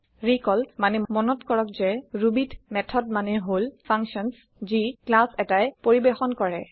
recall মানে মনত কৰক যে Rubyত মেথড মানে হল ফাংচাঞ্চ যি ক্লাছ এটায়ে পৰিৱেশন কৰে